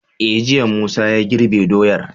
E jiya Musa ya girbe doyar